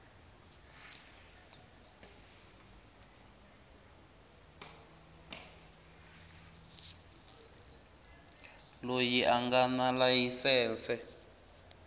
loyi a nga na layisense